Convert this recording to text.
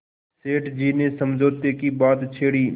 सेठ जी ने समझौते की बात छेड़ी